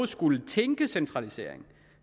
skulle tænke centralisering